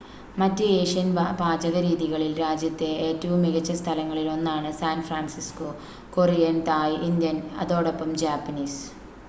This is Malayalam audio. മറ്റ് ഏഷ്യൻ പാചകരീതികളിൽ രാജ്യത്തെ ഏറ്റവും മികച്ച സ്ഥലങ്ങളിൽ ഒന്നാണ് San Francisco Korean Thai Indian അതോടൊപ്പം ജാപ്പനീസ്